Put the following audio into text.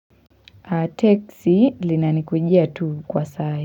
Teksi linanikujia tu kwa saa hii.